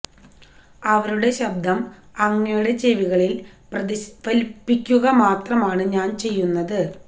അവരുടെ ശബ്ദം അങ്ങയുടെ ചെവികളില് പ്രതിഫലിപ്പിക്കുക മാത്രമാണ് ഞാന് ചെയ്യുന്നത്